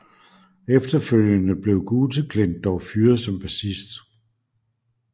Efterfølgende blev Guteklint dog fyret som bassist